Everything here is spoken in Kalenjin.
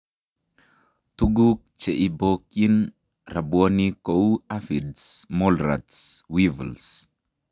Tuguk che ibokyin rabwonik kou aphids, mole rats, weevils